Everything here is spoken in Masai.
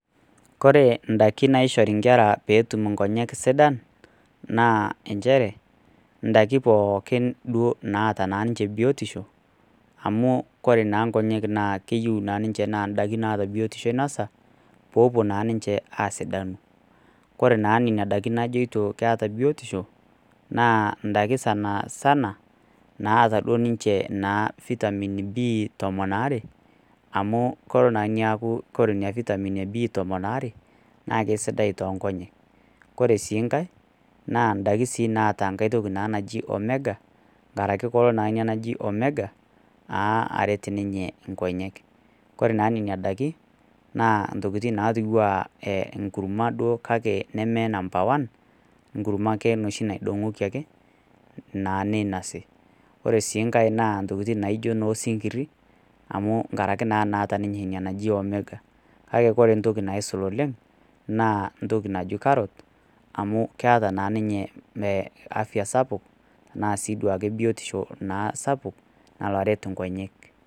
Kore indaiki naishori inkera pee etum indaiki sidan, naa nchere, indaiki pookin duo naa naata ninche biotisho, amu ore naa inkonyek naa keyiou ninye naa indaiki naata biotisho inosa, pee epuo naa ninche aasidanu. Kore naa nena daikin najoito keata biotisho naa indaiki sanasana naata naa duo ninche Vitamin B tomon aare, amu kelo naa neaku kore ina Vitamin B tomon aare, naake sidai toonkonyek. Ore sii enkai naa indaiki sii naata enkai toki naji, Omega, enkaraki kelo naa ina naji Omega, naa aret ninye inkonyek, kore naa nena daikin, naa intokin naatiu ake naa enkurma kake neme number one, enkurma ake noshi naidong'oki ake, naa neinosi. Ore sii enkai naa intokitin naijo noo isinkiri amu naa enkaraki naata ninye ina naji Omega. Kake ore entoki naisul oleng' naa entoki naji Carot, amu keta naa ninye afya sapuk anaa sii ake biotisho sapuk alo aret inkonyek.